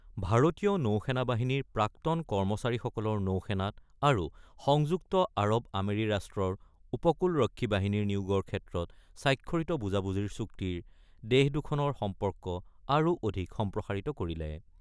ভাৰতীয় নৌ সেনা বাহিনীৰ প্ৰাক্তন কৰ্মচাৰীসকলৰ নৌ সেনাত আৰু সংযুক্ত আৰৱ আমিৰি ৰাষ্ট্ৰৰ উপকূলৰক্ষী বাহিনীৰ নিয়োগৰ ক্ষেত্ৰত স্বাক্ষৰিত বুজাবুজিৰ চুক্তিৰ দেশদুখনৰ সম্পৰ্ক আৰু অধিক সম্প্ৰসাৰিত কৰিলে।